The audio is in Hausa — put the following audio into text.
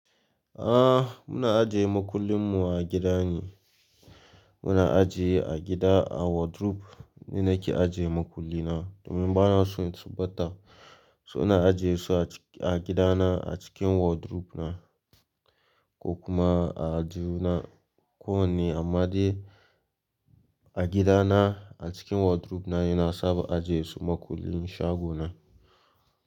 Ah muna ajiye makullin mu a gida ne. Muna ajiye a gida a wardrobe ne nake ajiye makullin na domin bana so su bata. So na ajiye su a gida na a cikin wardrobe na ko kuma a juna kowanne amma dai a gida na a cikin wardrobe na yana saba ajiye su makullin shago na.